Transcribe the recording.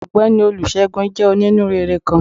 Ọgbẹni Olúsegún jé oní-núréré kán.